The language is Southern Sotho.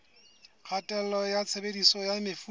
kgatello ya tshebediso ya mefuta